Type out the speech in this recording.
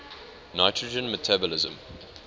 nitrogen metabolism